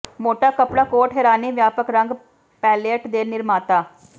ਮੋਟਾ ਕੱਪੜਾ ਕੋਟ ਹੈਰਾਨੀ ਵਿਆਪਕ ਰੰਗ ਪੈਲਅਟ ਦੇ ਨਿਰਮਾਤਾ